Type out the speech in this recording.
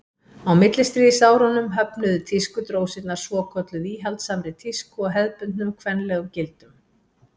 á millistríðsárunum höfnuðu tískudrósirnar svokölluðu íhaldssamri tísku og hefðbundnum kvenlegum gildum